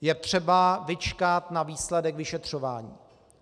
Je třeba vyčkat na výsledek vyšetřování.